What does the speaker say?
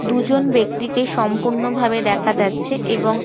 দুজন ব্যক্তিকে সম্পূর্ণভাবে দেখা যাচ্ছে এবং--